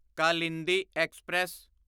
Kalindi express